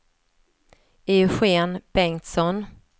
Eugen Bengtsson